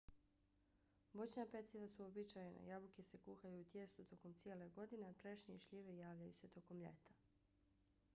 voćna peciva su uobičajena - jabuke se kuhaju u tijestu tokom cijele godine a trešnje i šljive javljaju se tokom ljeta